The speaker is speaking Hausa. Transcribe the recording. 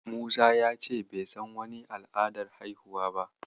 Musa ya ce bai san wani al'adar haihuwa ba.